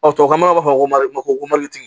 tubabu nɔgɔ b'a fɔ ma ko